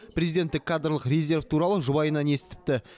президенттік кадрлық резерв туралы жұбайынан естіпті